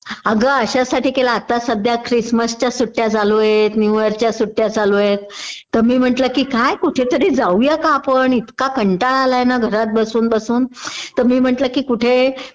अगं अश्यासाठी केला आता सध्या क्रिसमसच्या सुट्ट्या चालू आहेत, न्यू इयर्स च्या सुट्ट्या चालू आहेत.तर मी म्हटलं कि काय कुठेतरी जाऊया का आपण इतका कंटाळा आलाय ना घरात बसून बसून तर मी म्हटलं कि कुठे